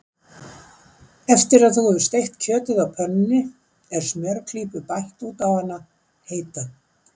Eftir að þú hefur steikt kjötið á pönnunni er smjörklípu bætt út á hana heita.